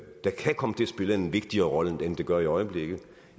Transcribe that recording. der kan komme til at spille en vigtigere rolle end det gør i øjeblikket og